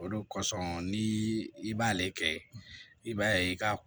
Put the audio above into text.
O de kosɔn ni i b'ale kɛ i b'a ye i ka